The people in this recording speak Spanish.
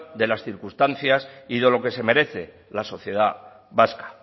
de las circunstancias y de lo que se merece la sociedad vasca